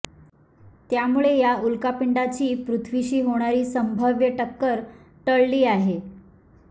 त्यामुळे या उल्कापिंडाची पृथ्वीशी होणारी संभाव्य टक्कर टळली आहे